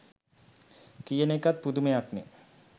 කියන එකත් පුදුමයක්නේ.